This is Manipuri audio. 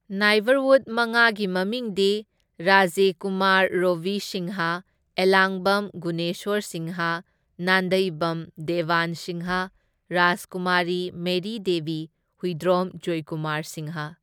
ꯅꯥꯏꯕꯔꯍꯨꯠ ꯃꯉꯥꯒꯤ ꯃꯃꯤꯡꯗꯤ ꯔꯥꯖꯦꯀꯨꯃꯥꯔ ꯔꯣꯕꯤ ꯁꯤꯡꯍ, ꯑꯦꯂꯥꯡꯕꯝ ꯒꯨꯅꯦꯁꯣꯔ ꯁꯤꯡꯍ, ꯅꯥꯟꯗꯩꯕꯝ ꯗꯦꯕꯥꯟ ꯁꯤꯡꯍ, ꯔꯥꯁꯀꯨꯃꯥꯔꯤ ꯃꯦꯔꯤ ꯗꯦꯕꯤ ꯍꯨꯏꯗ꯭ꯔꯣꯝ ꯖꯣꯏꯀꯨꯃꯥꯔ ꯁꯤꯡꯍ꯫